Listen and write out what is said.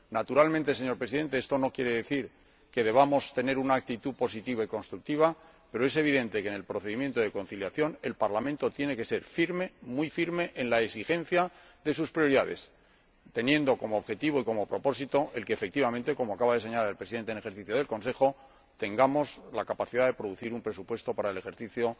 Naturalmente, señor Presidente, esto no quiere decir que no debamos tener una actitud positiva y constructiva, pero es evidente que, en el procedimiento de conciliación, el Parlamento tiene que ser firme, muy firme, en la exigencia de sus prioridades, teniendo como objetivo y como propósito el que, efectivamente como acaba de señalar el Presidente en ejercicio del Consejo tengamos la capacidad de producir un presupuesto para el ejercicio